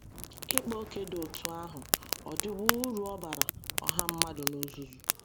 Ịkpa ókè dị otú ahụ ọ̀ dịwo uru ọ baara ọha mmadụ n’ozuzu?